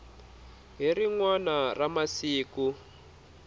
hi rin wana ra masiku